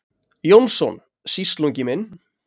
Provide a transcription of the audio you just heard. Jónsson, sýslungi minn.